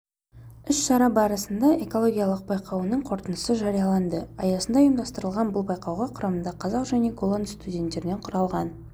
іс-шара барысында экологиялық байқауының қорытындысы жарияланды аясында ұйымдастырылған бұл байқауға құрамында қазақ және голланд студенттерінен құралған